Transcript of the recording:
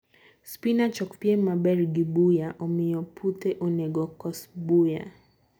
Spinach okpiem maber gi buya, omiyo puthe onego kos buya.